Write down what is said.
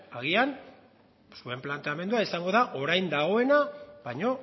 agian zuen planteamendua izango da orain dagoena baino